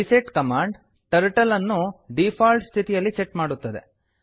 reset command turtle ಅನ್ನು default ಸ್ಥಿತಿಯಲ್ಲಿ set ಮಾಡುತ್ತದೆ